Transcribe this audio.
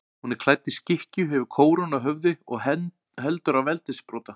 Hún er klædd í skikkju, hefur kórónu á höfði og heldur á veldissprota.